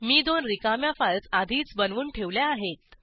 मी दोन रिकाम्या फाईल्स आधीच बनवून ठेवल्या आहेत